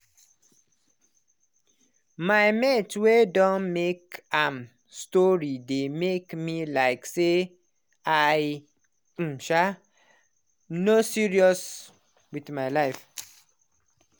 my mate way don make a am story dey make me like say i um um no serious with my life.